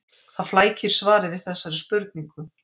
Það flækir svarið við þessari spurningu.